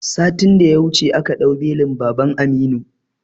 Satin da ya wuce aka ɗau belin baban Aminu